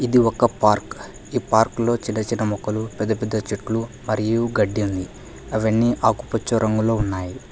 ఇది ఒక పార్క్ ఈ పార్క్లో చిన్న చిన్న మొక్కలు పెద్ద పెద్ద చెట్లు మరియు గడ్డి ఉంది అవన్నీ ఆకుపచ్చ రంగులో ఉన్నాయి.